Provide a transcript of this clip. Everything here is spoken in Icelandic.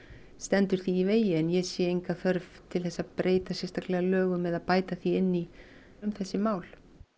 stendur því í vegi en ég sé enga þörf til þess að breyta sérstaklega lögum eða bæta því inn í um þessi mál